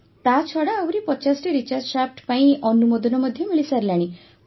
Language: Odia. ତା ଛଡ଼ା ଆହୁରି ୫୦ଟି ରିଚାର୍ଜ ଶାଫ୍ଟ ପାଇଁ ଅନୁମୋଦନ ମଧ୍ୟ ମିଳିସାରିଲାଣି